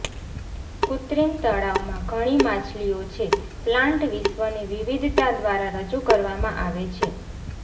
કૃત્રિમ તળાવમાં ઘણી માછલીઓ છે પ્લાન્ટ વિશ્વની વિવિધતા દ્વારા રજૂ કરવામાં આવે છે